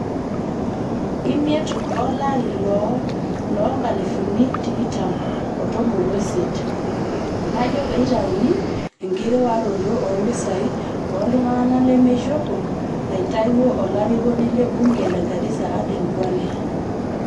imiet o lari loo looo nkalifuni tikitam o tomon o isiet najo peitauni enkiriwaroto o mpishai oo ltungana lemeishopo naitawuo olarikoni le bunge le Garissa Aden Duale.